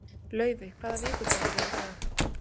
Laufey, hvaða vikudagur er í dag?